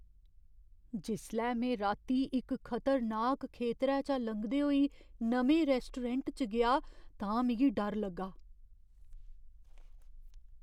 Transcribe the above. जिसलै में राती इक खतरनाक खेतरै चा लंघदे होई नमें रैस्टोरैंट च गेआ तां मिगी डर लग्गा।